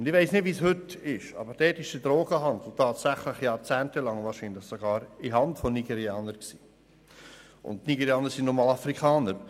Ich weiss nicht, wie es heute ist, aber dort war der Drogenhandel wahrscheinlich sogar jahrzehntelang in der Hand von Nigerianern, und Nigerianer sind nun mal Afrikaner.